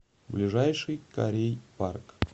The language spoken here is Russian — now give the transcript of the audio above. ближайший корей парк